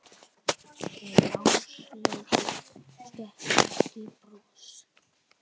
En Áslaugu stökk ekki bros.